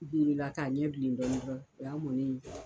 la k'a ɲɛ bilen dɔɔnin dɔrɔn o y' a mɔnen ye.